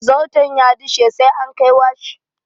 Zarton ya dishe sai an kai washi.